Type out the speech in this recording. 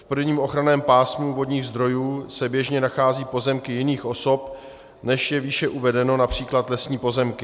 V prvním ochranném pásmu vodních zdrojů se běžně nacházejí pozemky jiných osob, než je výše uvedeno, například lesní pozemky.